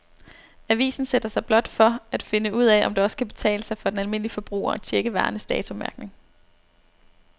Avisen sætter sig blot for at finde ud af, om det også kan betale sig for den almindelige forbruger at checke varernes datomærkning.